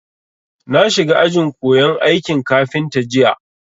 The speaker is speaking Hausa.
Na shiga ajin koyan aikin kafinta jiya